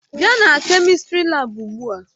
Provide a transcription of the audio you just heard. Bịa na kemistri laabu ugbu a!